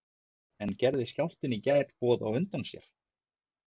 En gerði skjálftinn í gær boð á undan sér?